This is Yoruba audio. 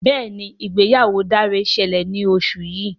Béèni ìgbéyàwó Dare ṣẹlẹ ní oṣù yí.